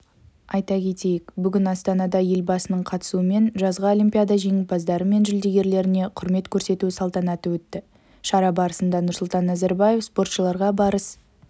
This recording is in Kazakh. айта кетейік бүгін астанада елбасының қатысуымен жазғы олимпиада жеңімпаздары мен жүлдергерлеріне құрмет көрсету салтанаты өтті шара барысында нұрсұлтан назарбаев спортшыларға барыс